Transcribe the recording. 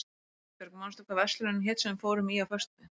Dagbjörg, manstu hvað verslunin hét sem við fórum í á föstudaginn?